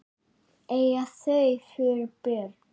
Eiga þau fjögur börn.